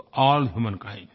to all humankind